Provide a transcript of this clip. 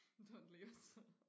Don't leave us